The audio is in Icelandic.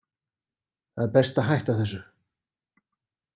Það er best að hætta þessu.